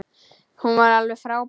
Hún var alveg frábær.